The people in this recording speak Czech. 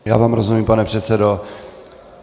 Já vám rozumím, pane předsedo.